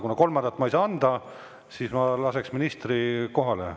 Kuna kolmandat ma ei saa anda, siis ma lasen ministri kohale.